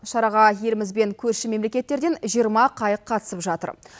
шараға еліміз бен корші мемлекеттерден жиырма қайық қатысып жатыр